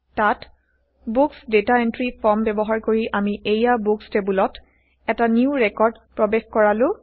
তাত books data entry form ব্যৱহাৰ কৰি আমি এইয়া বুকচ টেবোলত এটা নিউ ৰেকৰ্ড প্ৰবেশ কৰালো